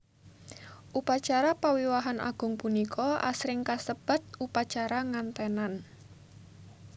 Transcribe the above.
Upacara pawiwahan agung punika asring kasebat upacara nganténan